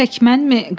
Tək mənmi?